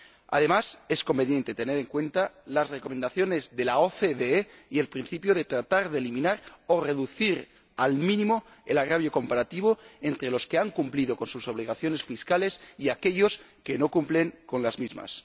Además, es conveniente tener en cuenta las recomendaciones de la OCDE y el principio de tratar de eliminar o reducir al mínimo el agravio comparativo entre los que han cumplido con sus obligaciones fiscales y aquellos que no cumplen con las mismas.